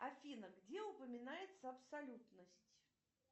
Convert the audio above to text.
афина где упоминается абсолютность